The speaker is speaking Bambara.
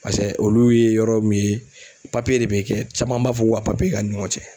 Pasɛ olu ye yɔrɔ min ye de be kɛ caman b'a fɔ ko ka k'a' ni ɲɔgɔn cɛ.